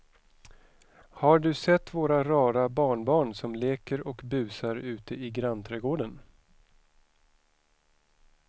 Har du sett våra rara barnbarn som leker och busar ute i grannträdgården!